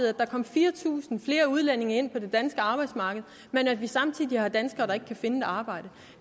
at der kom fire tusind flere udlændinge ind på det danske arbejdsmarked men at vi samtidig har danskere der ikke kan finde et arbejde